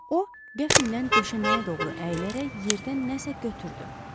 O qəfildən döşəməyə doğru əyilərək yerdən nəsə götürdü.